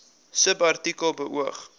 subartikel beoog